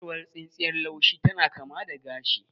Ciyawar tsintsiyar laushi tana kama da gashi.